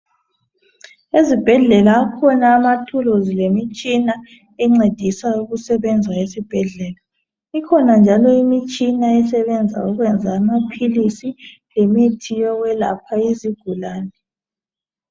Ezibhedlela akhona amathuluzi lemitshina encedisayo ukusebenza esibhedlela. Ikhona njalo imitshina esebenza ukwenza amaphilisi lemithi yokwelapha izigulane.